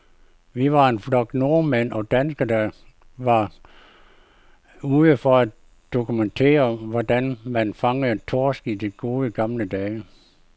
Vi var en flok nordmænd og danskere, der bare var ude for at dokumentere, hvordan man fangede torsk i de gode, gamle dage.